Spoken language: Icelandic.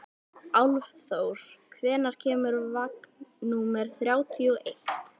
Álfþór, hvenær kemur vagn númer þrjátíu og eitt?